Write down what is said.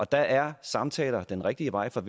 der er samtaler den rigtige vej for